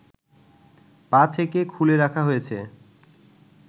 পা থেকে খুলে রাখা হয়েছে